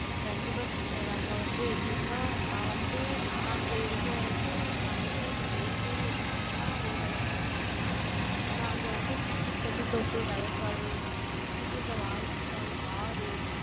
கண்டிப்பா, sister அங்க வந்து, எப்படின்னா, நான் வந்து, நான் அங்க இருந்த வரைக்கும், நான் இந்த வெயிலு, அதெல்லாம் ஓரளவுக்குத்தான் பார்த்திருப்பேன். ஏன்னா, அங்க வந்து சுத்தி தென்னந்தோப்பு, வயக்காடு, சுத்தி சுத்தி இருந்த வாய்க்கால், ஆறு,